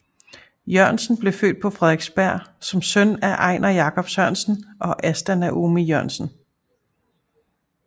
Jørgensen blev født på Frederiksberg som søn af Einar Jacob Sørensen og Asta Noomi Jørgensen